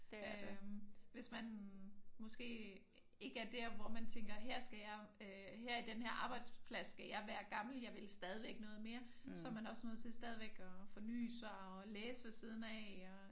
Øh hvis man måske ikke er der hvor man tænker her skal jeg øh her i den her arbejdsplads skal jeg være gammel. Jeg vil stadigvæk noget mere. Så er man også nødt til stadigvæk at forny sig og læse ved siden af